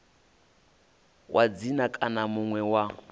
wa dzina kana muṋe wa